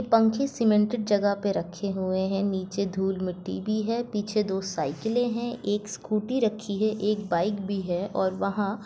पंखे सीमेंटेड जगह पे रखे हुए है नीचे धुल मिटटी भी है पीछे दो साइकिले है एक स्कूटी रखी है एक बाइक भी है और वहा--